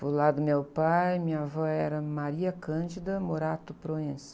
O lado do meu pai, minha avó era.